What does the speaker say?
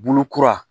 Bulu kura